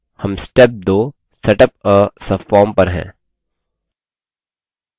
हम step 2 setup a subform पर हैं